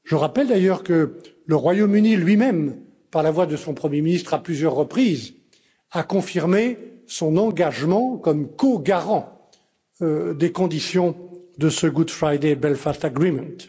Je rappelle d'ailleurs que le Royaume Uni lui même, par la voix de son Premier ministre, a à plusieurs reprises confirmé son engagement comme co garant des conditions de cet accord du Vendredi saint.